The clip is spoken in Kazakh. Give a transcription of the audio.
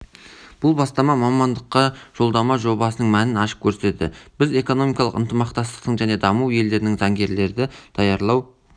бұл бастама мамандыққа жолдама жобасының мәнін ашып көрсетеді біз экономикалық ынтымақтастық және даму елдерінің заңгерлерді даярлау